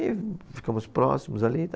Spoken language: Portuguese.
E ficamos próximos ali.